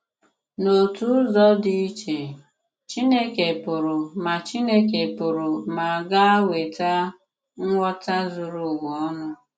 N’òtù ụzọ dị iche, Chìnékè pụrụ ma Chìnékè pụrụ ma ga-ewetà ngwọta zùrù ùwa ònù.